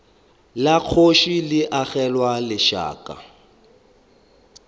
la kgoši le agelwa lešaka